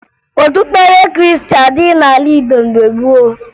Okpukpere Krịịstị adịghị n'ala Igbo mgbe gboo